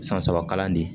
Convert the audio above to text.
San saba kalan de ye